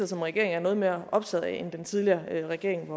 som regering er noget mere optaget af end den tidligere regering